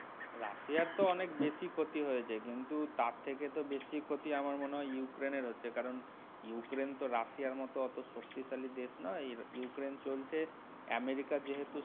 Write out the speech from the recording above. রাশিয়ার তো অনেক বেশি ক্ষতি হয়েছে কিন্তু তার থেকে তো বেশি ক্ষতি আমার মনে হয় ইউক্রেইন্ এর হচ্ছে কারণ ইউক্রেইন্ তো রাশিয়ার মতো অত শক্তিশালী দেশ নয়. ইউক্রেইন্ চলছে আমেরিকার যেহেতু।